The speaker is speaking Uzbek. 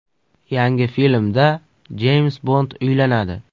Yangi filmda Jeyms Bond uylanadi.